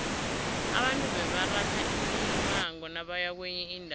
abantu bebaratha imimango nabaya kwenye indawo